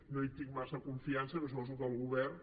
no hi tinc massa confiança però suposo que el govern